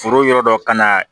Foro yɔrɔ dɔ ka na